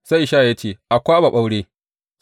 Sai Ishaya ya ce, A kwaɓa ɓaure.